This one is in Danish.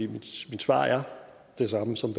mit svar er det samme som